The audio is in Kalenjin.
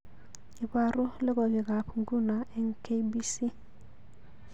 Ibaru logoywekab nguno eng k.b.c